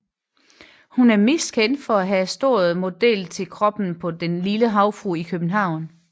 Hun er mest kendt for at have stået model til kroppen på Den lille Havfrue i København